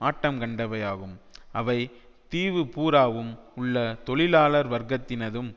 ஆட்டங்கண்டவையாகும் அவை தீவு பூராவும் உள்ள தொழிலாளர் வர்க்கத்தினதும்